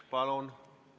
Palun!